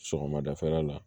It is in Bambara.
Sɔgɔmadafɛla la